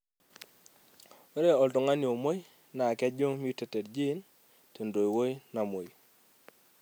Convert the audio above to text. ore oltung'ani omuoi naa kejung mutated gene tentoiuoi namuoi.